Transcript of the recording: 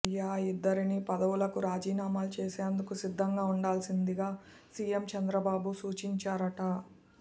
య ఈ ఇద్దరినీ పదవులకు రాజీనామాలు చేసేందుకు సిద్ధంగా ఉండాల్సిందిగా సీఎం చంద్రబాబు సూచించారుట